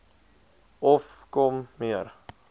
of kom meer